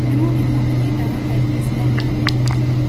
Nĩ mũrimũ ũnyitaga kaingĩ ciana nini.